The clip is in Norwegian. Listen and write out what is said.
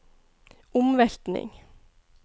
omveltning